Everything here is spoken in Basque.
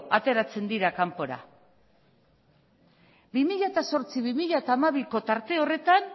ateratzen dira kanpora bi mila zortzi bi mila hamabiko tarte horretan